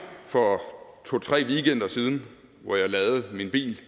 for to tre weekender siden hvor jeg ladede min bil